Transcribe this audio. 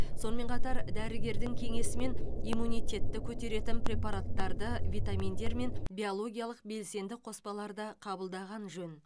сонымен қатар дәрігердің кеңесімен иммунитетті көтеретін препараттарды витаминдер мен биологиялық белсенді қоспаларды қабылдаған жөн